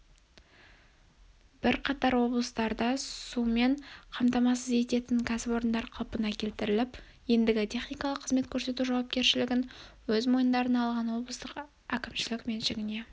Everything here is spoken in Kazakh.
бірқатар облыстарда сумен қамтамасыз ететін ксіпорындар қалпына келтіріліп ендігі техникалық қызмет көрсету жауапкершілігін өз мойындарына алған облыстық кімшілік меншігіне